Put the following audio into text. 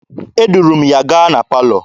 Eduru m ya gaa na palọ.